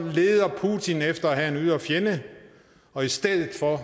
leder putin efter at have en ydre fjende og i stedet for